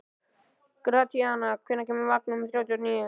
Gratíana, hvenær kemur vagn númer þrjátíu og níu?